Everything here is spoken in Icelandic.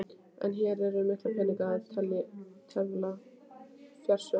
En hér er um mikla peninga að tefla, fjársjóð!